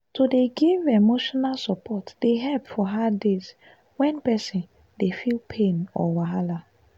to dey give emotional support dey help for hard days when person dey feel pain or wahala.